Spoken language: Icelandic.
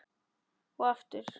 Og aftur.